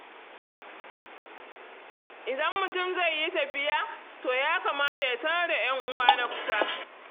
Idan mutum zai yi tafiya, to ya kamata ya sanar da 'yan'uwa na kusa.